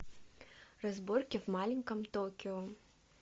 разборки в маленьком токио